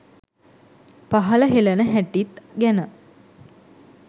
පහළ හෙලන හැටිත් ගැන